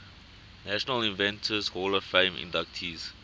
national inventors hall of fame inductees